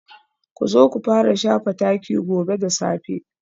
Ku zo ku fara shafa taki gobe da safe